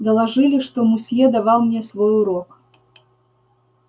доложили что мусье давал мне свой урок